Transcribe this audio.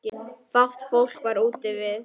Fátt fólk var úti við.